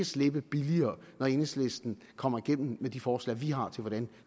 slippe billigere når enhedslisten kommer igennem med de forslag vi har til hvordan